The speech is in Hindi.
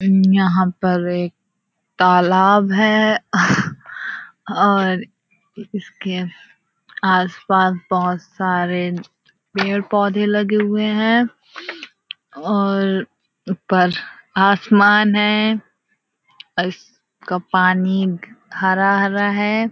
यहाँ पर एक तालाब है और उसके आस-पास बहुत सारे पेड़ पौधे लगे हुए है और ऊपर आसमान है और उसका पानी हरा-हरा है।